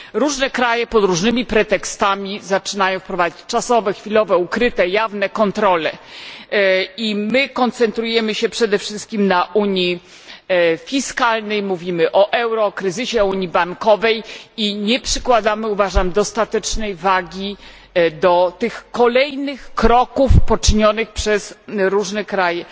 Różne kraje pod różnymi pretekstami zaczynają wprowadzać czasowe, chwilowe, ukryte, jawne kontrole, a my koncentrujemy się przede wszystkim na unii fiskalnej, mówimy o euro, kryzysie, unii bankowej i nie przykładamy moim zdaniem dostatecznej wagi do tych kolejnych kroków poczynionych przez różne kraje.